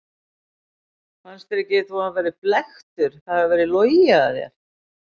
Fannst þér ekki þú hafa verið blekktur, það hafi verið logið að þér?